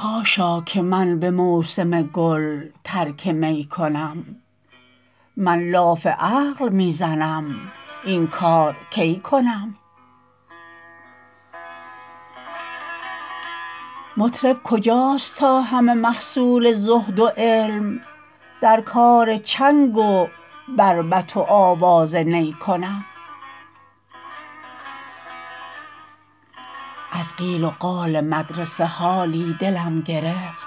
حاشا که من به موسم گل ترک می کنم من لاف عقل می زنم این کار کی کنم مطرب کجاست تا همه محصول زهد و علم در کار چنگ و بربط و آواز نی کنم از قیل و قال مدرسه حالی دلم گرفت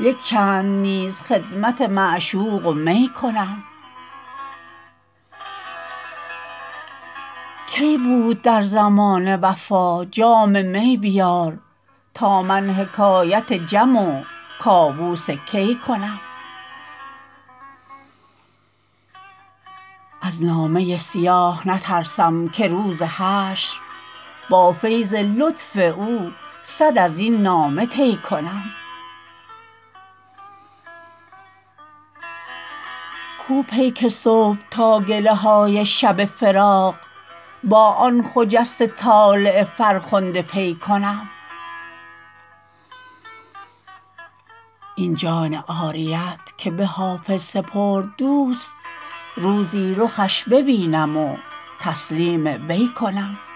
یک چند نیز خدمت معشوق و می کنم کی بود در زمانه وفا جام می بیار تا من حکایت جم و کاووس کی کنم از نامه سیاه نترسم که روز حشر با فیض لطف او صد از این نامه طی کنم کو پیک صبح تا گله های شب فراق با آن خجسته طالع فرخنده پی کنم این جان عاریت که به حافظ سپرد دوست روزی رخش ببینم و تسلیم وی کنم